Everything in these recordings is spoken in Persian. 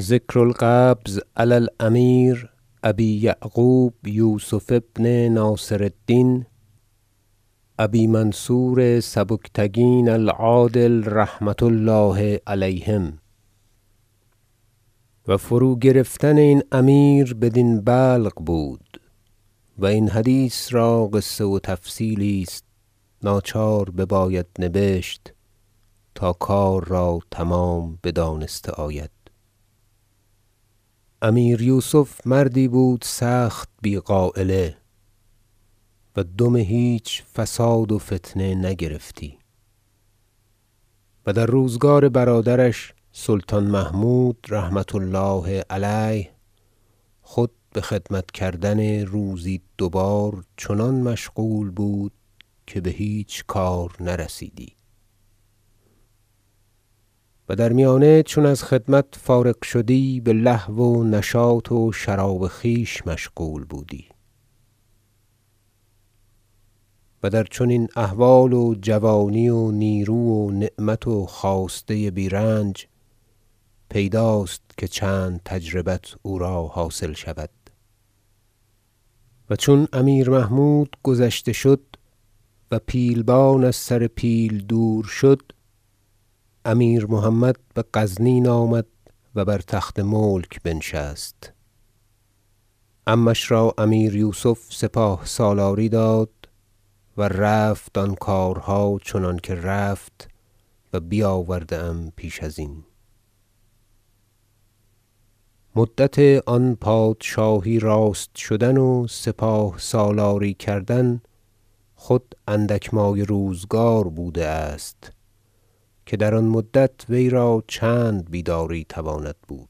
ذکر القبض علی الامیر ابی یعقوب یوسف ابن ناصر الدین ابی منصور سبکتکین العادل رحمة الله علیهم و فروگرفتن این امیر بدین بلق بود و این حدیث را قصه و تفصیلی است ناچار بباید نبشت تا کار را تمام بدانسته آید امیر یوسف مردی بود سخت بی غایله و دم هیچ فساد و فتنه نگرفتی و در روزگار برادرش سلطان محمود رحمة الله علیه خود بخدمت کردن روزی دو بار چنان مشغول بود که بهیچ کار نرسیدی و در میانه چون از خدمت فارغ شدی بلهو و نشاط و شراب خویش مشغول بودی و در چنین احوال و جوانی و نیرو و نعمت و خواسته بیرنج پیداست که چند تجربت او را حاصل شود و چون امیر محمود گذشته شد و پیلبان از سر پیل دور شد امیر محمد بغزنین آمد و بر تخت ملک بنشست عمش را امیر یوسف سپاه سالاری داد و رفت آن کارها چنانکه رفت و بیاورده ام پیش ازین مدت آن پادشاهی راست شدن و سپاه سالاری کردن خود اندک مایه روزگار بوده است که در آن مدت وی را چند بیداری تواند بود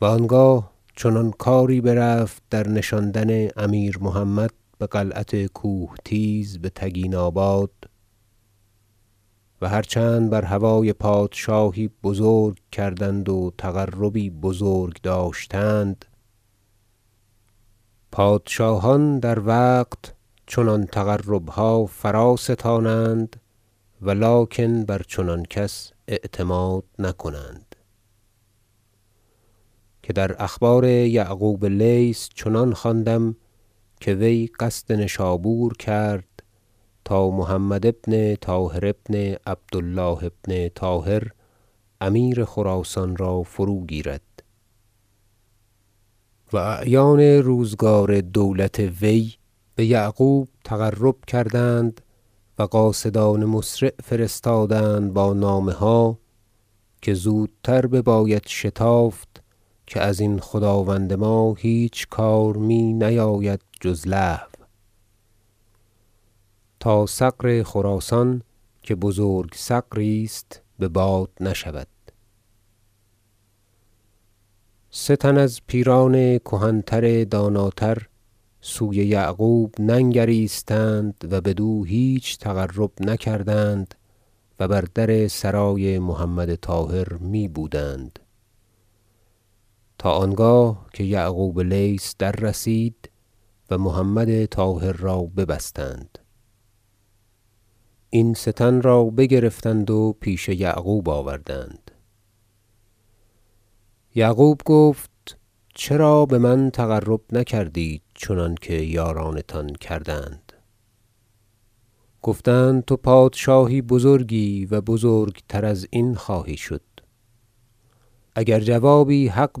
و آنگاه چنان کاری برفت در نشاندن امیر محمد بقلعت کوهتیز بتگیناباد و هر چند بر هوای پادشاهی بزرگ کردند و تقربی بزرگ داشتند پادشاهان در وقت چنان تقربها فراستانند ولکن بر چنان کس اعتماد نکنند که در اخبار یعقوب لیث چنان خواندم که وی قصد نشابور کرد تا محمد بن طاهر بن عبد الله بن طاهر امیر خراسان را فرو گیرد و اعیان روزگار دولت وی به یعقوب تقرب کردند و قاصدان مسرع فرستادند با نامه ها که زودتر بباید شتافت که ازین خداوند ما هیچ کار می نیاید جز لهو تا ثغر خراسان که بزرگ ثغری است بباد نشود سه تن از پیران کهن تر داناتر سوی یعقوب ننگریستند و بدو هیچ تقرب نکردند و بر در سرای محمد طاهر می بودند تا آنگاه که یعقوب لیث در رسید و محمد طاهر را ببستند این سه تن را بگرفتند و پیش یعقوب آوردند یعقوب گفت چرا بمن تقرب نکردید چنانکه یارانتان کردند گفتند تو پادشاهی بزرگی و بزرگتر ازین خواهی شد اگر جوابی حق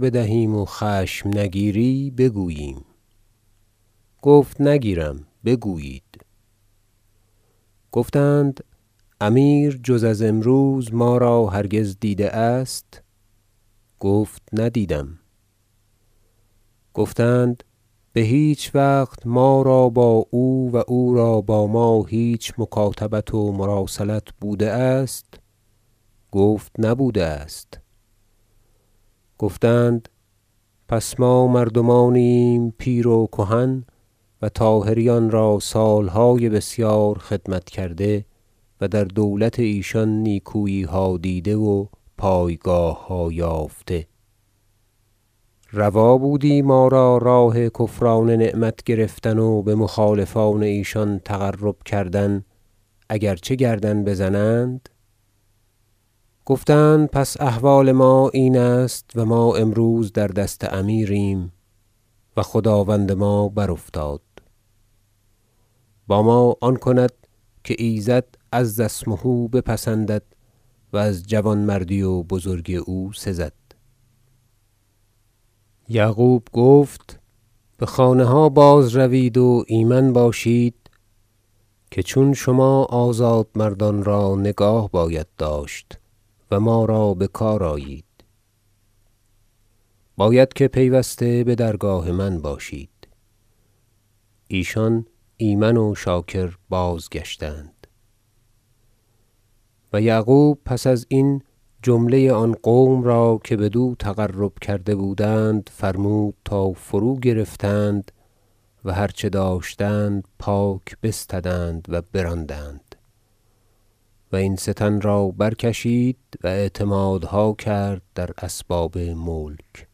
بدهیم و خشم نگیری بگوییم گفت نگیرم بگویید گفتند امیر جز از امروز ما را هرگز دیده است گفت ندیدم گفتند بهیچ وقت ما را با او و او را با ما هیچ مکاتبت و مراسلت بوده است گفت نبوده است گفتند پس ما مردمانی ایم پیر و کهن و طاهریان را سالهای بسیار خدمت کرده و در دولت ایشان نیکوییها دیده و پایگاهها یافته روا بودی ما را راه کفران نعمت گرفتن و بمخالفان ایشان تقرب کردن اگر چه گردن بزنند گفتند پس احوال ما این است و ما امروز در دست امیریم و خداوند ما برافتاد با ما آن کند که ایزد عزاسمه بپسندد و از جوانمردی و بزرگی او سزد یعقوب گفت بخانه ها باز- روید و ایمن باشید که چون شما آزاد مردان را نگاه باید داشت و ما را بکار آیید باید که پیوسته بدرگاه من باشید ایشان ایمن و شاکر بازگشتند و یعقوب پس ازین جمله آن قوم را که بدو تقرب کرد بودند فرمود تا فروگرفتند و هر چه داشتند پاک بستدند و براندند و این سه تن را برکشید و اعتمادها کرد در اسباب ملک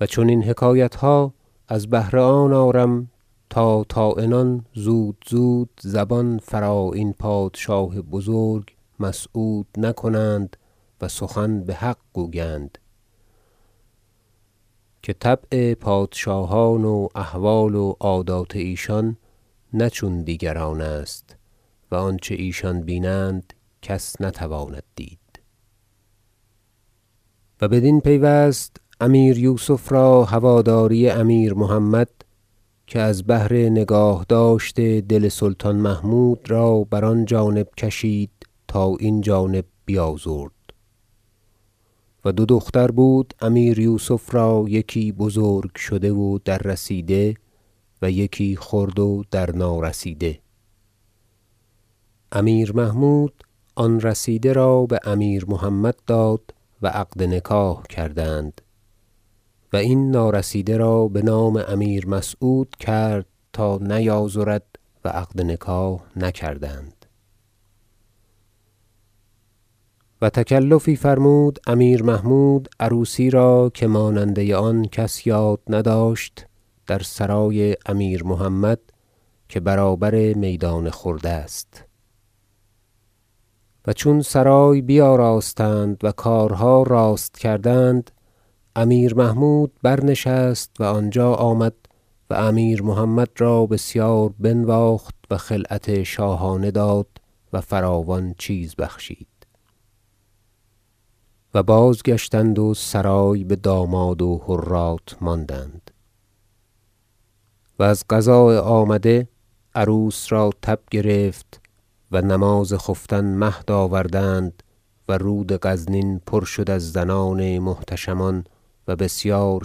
و چنین حکایتها از بهر آن آرم تا طاعنان زود زود زبان فرا این پادشاه بزرگ مسعود نکنند و سخن بحق گویند که طبع پادشاهان و احوال و عادات ایشان نه چون دیگران است و آنچه ایشان بینند کس نتواند دید داستان تزویج دو دختر امیر یوسف و بدین پیوست امیر یوسف را هواداری امیر محمد که از بهر نگاهداشت دل سلطان محمود را بر آن جانب کشید تا این جانب بیازرد و دو دختر بود امیر یوسف را یکی بزرگ شده و در رسیده و یکی خرد و در نارسیده امیر محمود آن رسیده را بامیر محمد داد و عقد نکاح کردند و این نارسیده را بنام امیر مسعود کرد تا نیازرد و عقد نکاح نکردند و تکلفی فرمود امیر محمود عروسی را که ماننده آن کس یاد نداشت در سرای امیر محمد که برابر میدان خرد است و چون سرای بیاراستند و کارها راست کردند امیر محمود بر نشست و آنجا آمد و امیر محمد را بسیار بنواخت و خلعت شاهانه داد و فراوان چیز بخشید و بازگشتند و سرای بداماد و حرات ماندند و از قضاء آمده عروس را تب گرفت و نماز خفتن مهد آوردند ورود غزنین پر شد از زنان محتشمان و بسیار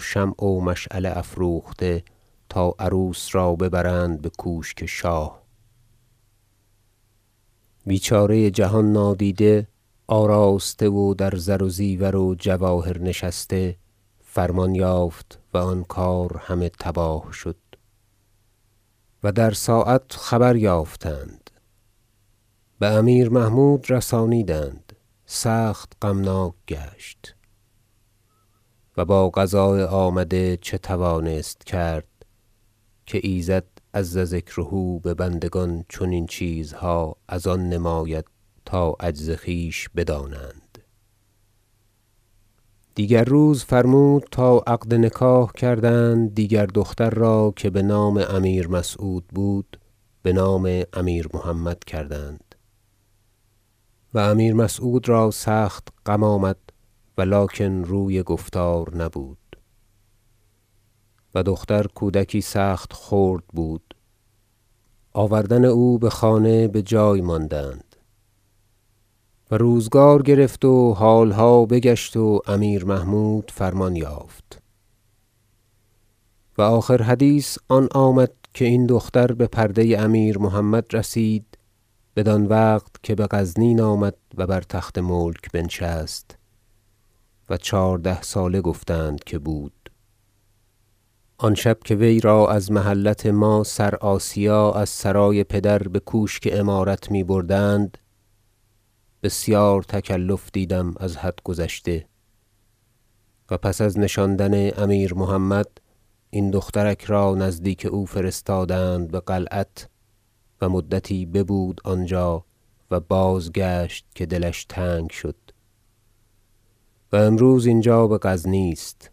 شمع و مشعله افروخته تا عروس را ببرند بکوشک شاه بیچاره جهان نادیده آراسته و در زر و زیور و جواهر نشسته فرمان یافت و آن کار همه تباه شد و در ساعت خبر یافتند بامیر محمود رسانیدند سخت غمناک گشت و با قضاء آمده چه توانست کرد که ایزد عز ذکره ببندگان چنین چیزها از آن نماید تا عجز خویش بدانند دیگر روز فرمود تا عقد نکاح کردند دیگر دختر را که بنام امیر مسعود بود بنام امیر محمد کردند و امیر مسعود را سخت غم آمد ولکن روی گفتار نبود و دختر کودکی سخت خرد بود آوردن او بخانه بجای ماندند و روزگار گرفت و حالها بگشت و امیر محمود فرمان یافت و آخر حدیث آن آمد که این دختر بپرده امیر محمد رسید بدان وقت که بغزنین آمد و بر تخت ملک بنشست و چهارده ساله گفتند که بود آن شب که وی را از محلت ما سر آسیا از سرای پدر بکوشک امارت می بردند بسیار تکلف دیدم از حد گذشته و پس از نشاندن امیر محمد این دختر را نزدیک او فرستادند بقلعت و مدتی ببود آنجا و بازگشت که دلش تنگ شد و امروز اینجا بغزنی است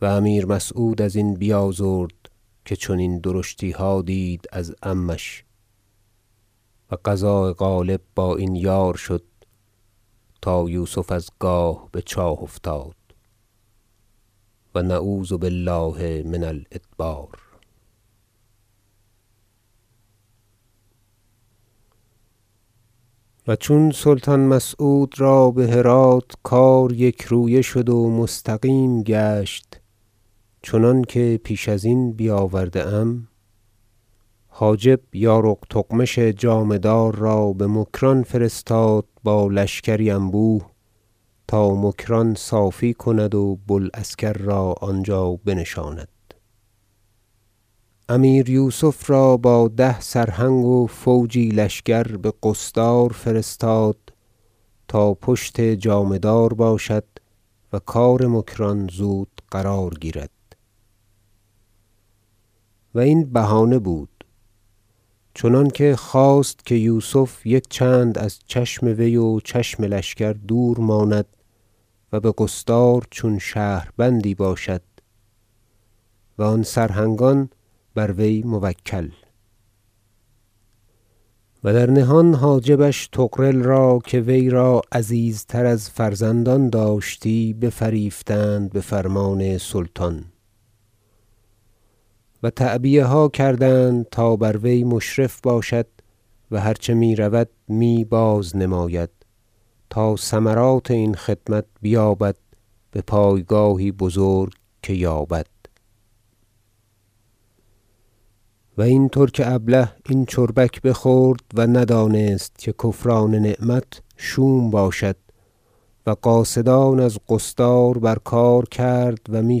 و امیر مسعود ازین بیازرد که چنین درشتیها دید از عمش و قضاء غالب با این یار شد تا یوسف از گاه بچاه افتاد و نعوذ بالله من الادبار و چون سلطان مسعود را بهرات کار یکرویه شد و مستقیم گشت چنانکه پیش ازین بیاورده ام حاجب یارق تغمش جامه دار را بمکران فرستاد با لشکری انبوه تا مکران صافی کند و بو العسکر را آنجا بنشاند امیر یوسف را با ده سرهنگ و فوجی لشکر بقصدار فرستاد تا پشت جامه دار باشد و کار مکران زود قرار گیرد و این بهانه بود چنانکه خواست که یوسف یک چند از چشم وی و چشم لشکر دور ماند و بقصدار چون شهربندی باشد و آن سرهنگان بروی موکل و در نهان حاجبش را طغرل که وی را عزیزتر از فرزندان داشتی بفریفتند بفرمان سلطان و تعبیه ها کردند تا بروی مشرف باشد و هر چه رود می باز نماید تا ثمرات این خدمت بیابد بپایگاهی بزرگ که یابد و این ترک ابله این چربک بخورد و ندانست که کفران نعمت شوم باشد و قاصدان از قصدار بر کار کرد و می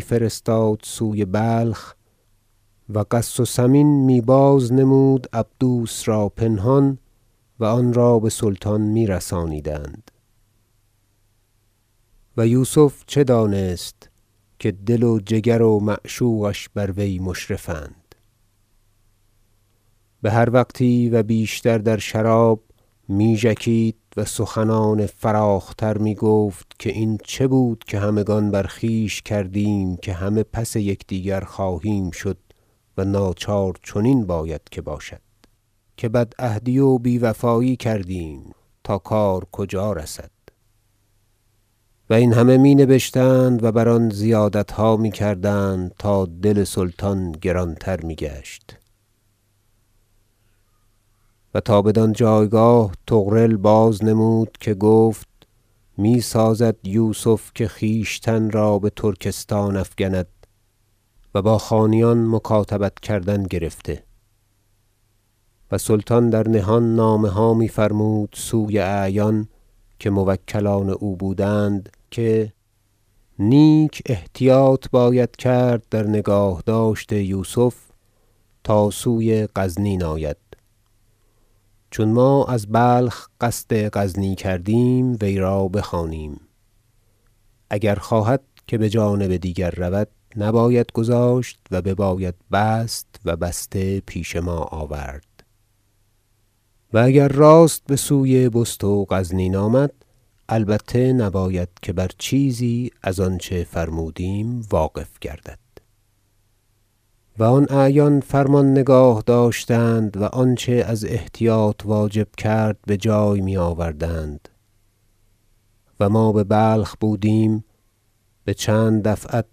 فرستاد سوی بلخ و غث و سمین می باز نمود عبدوس را پنهان و آن را بسلطان می رسانیدند و یوسف چه دانست که دل و جگر و معشوقش بر وی مشرف اند بهر وقتی و بیشتر در شراب می ژکید و سخنان فراخ تر می گفت که این چه بود که همگان بر خویش کردیم که همه پس یکدیگر خواهیم شد و ناچار چنین باید که باشد که بد عهدی و بی وفایی کردیم تا کار کجا رسد و این همه می نبشتند و بر آن زیادتها میکردند تا دل سلطان گران تر می گشت و تا بدان جایگاه طغرل باز نمود که گفت می سازد یوسف که خویشتن را بترکستان افکند و با خانیان مکاتبت کردن گرفته است و سلطان در نهان نامه ها می- فرمود سوی اعیان که موکلان او بودند که نیک احتیاط باید کرد در نگاهداشت یوسف تا سوی غزنین آید چون ما از بلخ قصد غزنی کردیم وی را بخوانیم اگر خواهد که بجانب دیگر رود نباید گذاشت و بباید بست و بسته پیش ما آورد و اگر راست بسوی بست و غزنین آمد البته نباید که بر چیزی از آنچه فرمودیم واقف گردد و آن اعیان فرمان نگاه داشتند و آنچه از احتیاط واجب کرد بجای می آوردند و ما ببلخ بودیم بچند دفعت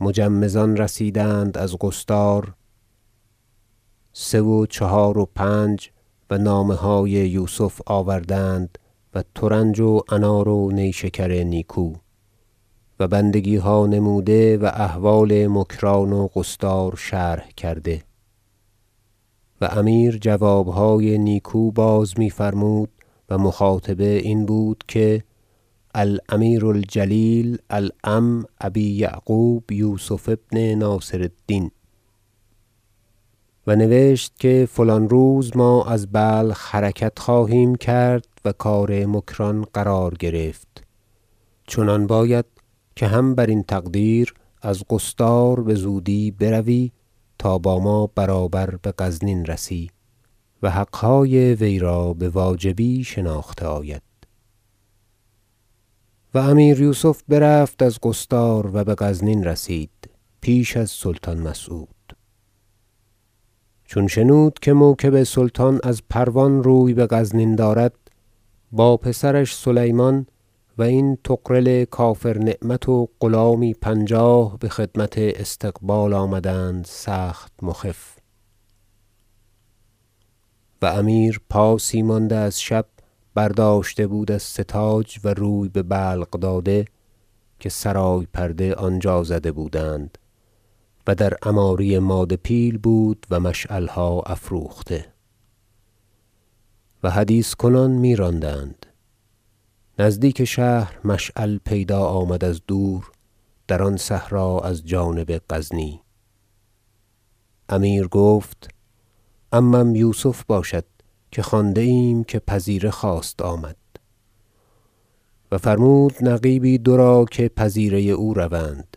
مجمزان رسیدند از قصدار سه و چهار و پنج و نامه های یوسف آوردند و ترنج و انار و نیشکر نیکو و بندگیها نموده و احوال مکران و قصدار شرح کرده و امیر جوابهای نیکو باز می فرمود و مخاطبه این بود که الأمیر الجلیل العم ابی یعقوب یوسف ابن ناصر الدین و نوشت که فلان روز ما از بلخ حرکت خواهیم کرد و کار مکران قرار گرفت چنان باید که هم برین تقدیر از قصدار بزودی بروی تا با ما برابر بغزنین رسی و حقهای وی را بواجبی شناخته آید آمدن یوسف به استقبال و امیر یوسف برفت از قصدار و بغزنین رسید پیش از سلطان مسعود چون شنود که موکب سلطان از پروان روی بغزنین دارد با پسرش سلیمان و این طغرل کافر نعمت و غلامی پنجاه بخدمت استقبال آمدند سخت مخف و امیر پاسی مانده از شب برداشته بود از ستاج و روی به بلق داده که سرای پرده آنجا زده بودند و در عماری ماده پیل بود و مشعلها افروخته و حدیث کنان می راندند نزدیک شهر مشعل پیدا آمد از دور در آن صحرا از جانب غزنی امیر گفت عمم یوسف باشد که خوانده ایم که پذیره خواست آمد و فرمود نقیبی دو را که پذیره او روند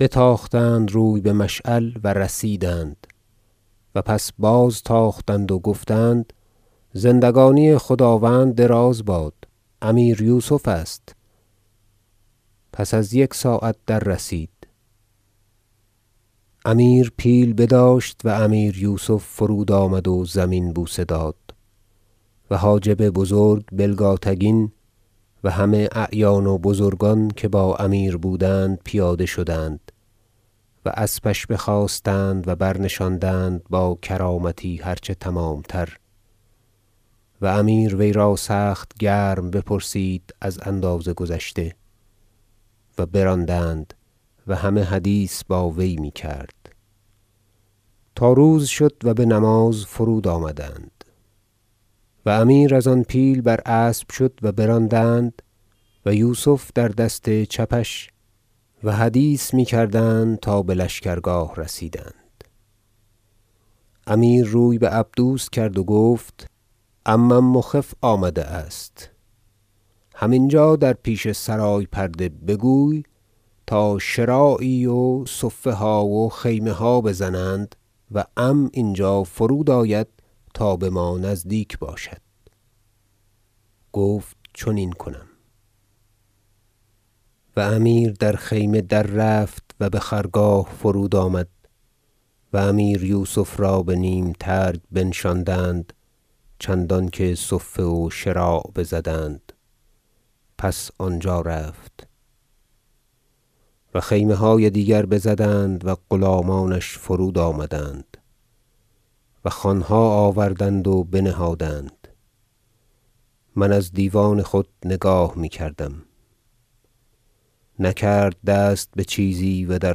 بتاختند روی بمشعل و رسیدند و پس باز تاختند و گفتند زندگانی خداوند دراز باد امیر یوسف است پس از یک ساعت در رسید امیر پیل بداشت و امیر یوسف فرود آمد و زمین بوسه داد و حاجب بزرگ بلگاتگین و همه اعیان و بزرگان که با امیر بودند پیاده شدند و اسبش بخواستند و برنشاندند با کرامتی هر چه تمام تر و امیر وی را سخت گرم بپرسید از اندازه گذشته و براندند و همه حدیث باوی میکرد تا روز شد و بنماز فرود آمدند و امیر از آن پیل بر اسب شد و براندند و یوسف در دست چپش و حدیث می کردند تا بلشکرگاه رسیدند امیر روی بعبدوس کرد و گفت عمم مخف آمده است هم اینجا در پیش سرای پرده بگوی تا شراعی و صفه ها و خیمه ها بزنند و عم اینجا فرود آید تا بما نزدیک باشد گفت چنین کنم و امیر در خیمه در رفت و بخرگاه فرود آمد و امیر یوسف را به نیم ترگ بنشاندند چندانکه صفه و شراع بزدند پس آنجا رفت و خیمه های دیگر بزدند و غلامانش فرود آمدند و خوانها آوردند و بنهادند- من از دیوان خود نگاه می کردم- نکرد دست بچیزی و در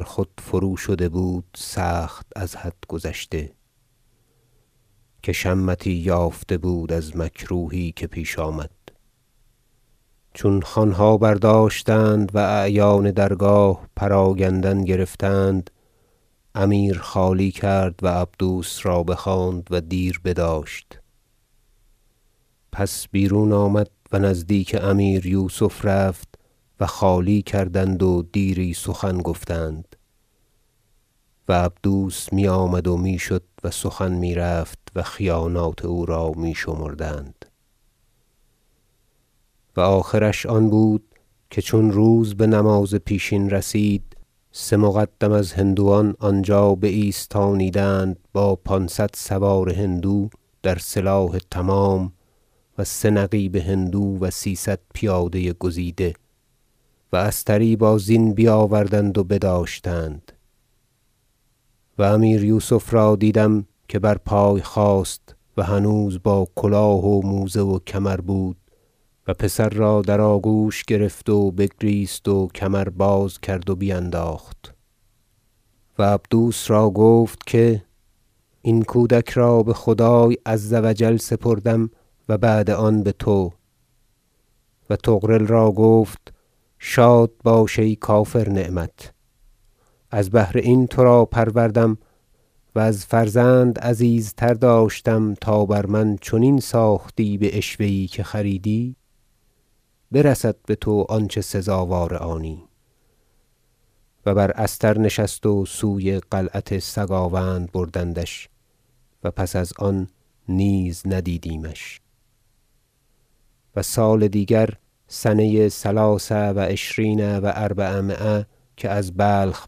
خود فرو شده بود سخت از حد گذشته که شمتی یافنه بود از مکروهی که پیش آمد چون خوانها برداشتند و اعیان درگاه پراگندن گرفتند امیر خالی کرد و عبدوس را بخواند و دیر بداشت پس بیرون آمد و نزدیک امیر یوسف رفت و خالی کردند و دیری سخن گفتند و عبدوس می آمد و می شد و سخن می رفت و خیانات او را می شمردند و آخرش آن بود که چون روز بنماز پیشین رسید سه مقدم از هندوان آنجا بایستانیدند با پانصد سوار هندو در سلاح تمام و سه نقیب هندو و سیصد پیاده گزیده و استری با زین بیاوردند و بداشتند و امیر یوسف را دیدم که بر پای خاست و هنوز با کلاه و موزه و کمر بود و پسر را در آگوش گرفت و بگریست و کمر باز کرد و بینداخت و عبدوس را گفت که این کودک را بخدای عز و جل سپردم و بعد آن بتو و طغرل را گفت شاد باش ای کافر نعمت از بهر این ترا پروردم و از فرزند عزیزتر داشتم تا بر من چنین ساختی بعشوه یی که خریدی برسد بتو آنچه سزاوار آنی و بر استر نشست و سوی قلعت سگاوند بردندش و پس از آن نیز ندیدمش و سال دیگر- سنه ثلاث و عشرین و اربعمایه - که از بلخ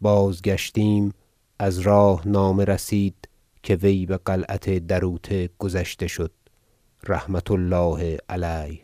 بازگشتیم از راه نامه رسید که وی بقلعت دروته گذشته شد رحمة الله علیه